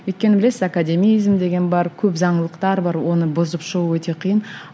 өйткені білесіз академизм деген бар көп заңдылықтар бар оны бұзып шығу өте қиын